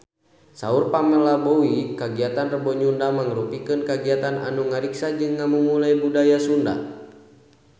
Saur Pamela Bowie kagiatan Rebo Nyunda mangrupikeun kagiatan anu ngariksa jeung ngamumule budaya Sunda